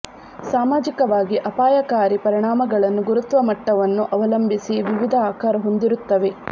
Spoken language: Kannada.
ಸಾಮಾಜಿಕವಾಗಿ ಅಪಾಯಕಾರಿ ಪರಿಣಾಮಗಳನ್ನು ಗುರುತ್ವ ಮಟ್ಟವನ್ನು ಅವಲಂಬಿಸಿ ವಿವಿಧ ಆಕಾರ ಹೊಂದಿರುತ್ತವೆ